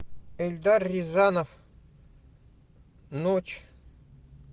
эльдар рязанов ночь